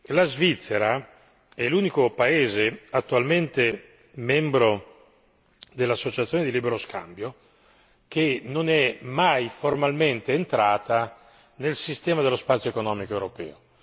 La Svizzera è l'unico paese attualmente membro dell'associazione di libero scambio che non è mai, formalmente, entrata nel sistema dello spazio economico europeo.